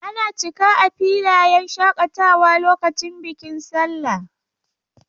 Ana cika a filayen shakatawa lokacin bikin sallah.